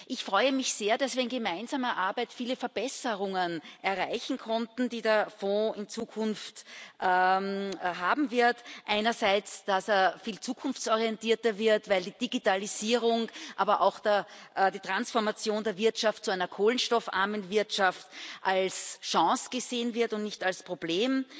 Ich freue mich sehr, dass wir in gemeinsamer Arbeit viele Verbesserungen erreichen konnten, die der Fonds in Zukunft aufweisen wird einerseits, dass er viel zukunftsorientierter wird, weil die Digitalisierung, aber auch die Transformation der Wirtschaft zu einer kohlenstoffarmen Wirtschaft, als Chance gesehen wird und nicht als Problem,